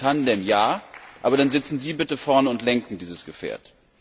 Deswegen Tandem ja, aber dann sitzen Sie bitte vorne und lenken dieses Gefährt!